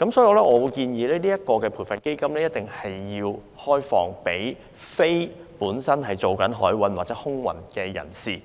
因此，我建議這項基金必須開放給非從事海運或空運的人士